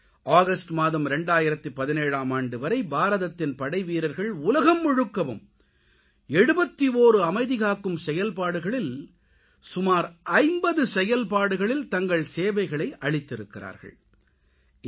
August மாதம் 2017ஆம் ஆண்டு வரை பாரதத்தின் படைவீரர்கள் உலகம் முழுக்கவும் 71 அமைதிகாக்கும் செயல்பாடுகளில் சுமார் 50 செயல்பாடுகளில் தங்கள் சேவைகளை அளித்திருக்கிறார்கள்